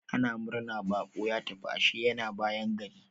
Ana murna baƙo ya tafi, ashe yana bayan gari.